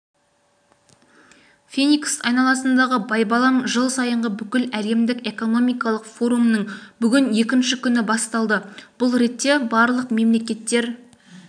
феникс айналасындағы байбалам жыл сайынғы бүкіләлемдік экономикалық форумның бүгін екінші күні басталды бұл ретте барлық мемлекеттер